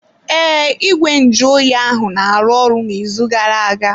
Ee, ìgwè nju oyi ahụ na-arụ ọrụ n'izu gara-aga.